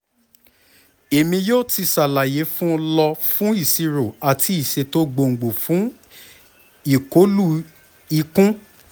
emi yoo ti ṣalaye fun lọ fun iṣiro ati iṣeto gbongbo fun ikolu ikun